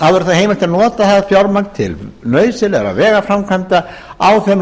verði heimilt að nota það fjármagn til nauðsynlegra vegaframkvæmda á þeim